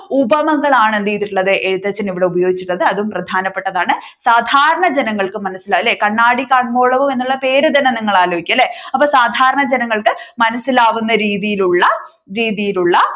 ഉപമകളാണ് എന്ത് ചെയ്തിട്ടുള്ളത് എഴുത്തച്ഛൻ ഇവിടെ ഉപയോഗിച്ചിട്ടുള്ളത് അതും പ്രധാനപെട്ടതാണ് സാധാരണ ജനങ്ങൾക്ക് മനസിലാകും അല്ലെ കണ്ണാടി കാണ്മോളവും എന്നുള്ള എന്ന പേര് തന്നെ നിങ്ങൾ ആലോചിക്കുക അല്ലെ അപ്പൊ സാധാരണ ജനങ്ങൾക്ക് മനസിലാവുന്ന രീതിയിൽ ഉള്ള രീതിയിൽ ഉള്ള